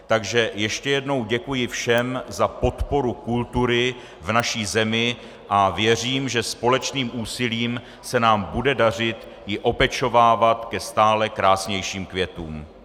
Takže ještě jednou děkuji všem za podporu kultury v naší zemi a věřím, že společným úsilím se nám bude dařit ji opečovávat ke stále krásnějším květům.